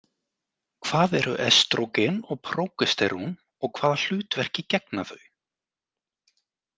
Hvað eru estrógen og prógesterón og hvaða hlutverki gegna þau?